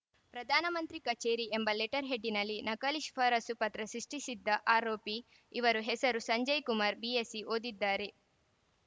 ಪ್ರಧಾನಮಂತ್ರಿ ಕಚೇರಿ ಎಂಬ ಲೆಟರ್‌ ಹೆಡ್‌ನಲ್ಲಿ ನಕಲಿ ಶಿಫಾರಸು ಪತ್ರ ಸೃಷ್ಟಿಸಿದ್ದ ಆರೋಪಿ ಇವರು ಹೆಸರು ಸಂಜಯ್‌ ಕುಮಾರ್‌ ಬಿಎಎಸ್ಸಿ ಓದಿದ್ದಾರೆ